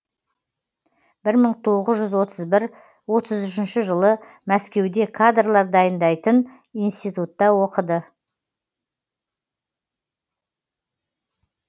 бір мың тоғыз жүз отыз бір отыз үшінші жылы мәскеуде кадрлар дайындайтын институтта оқыды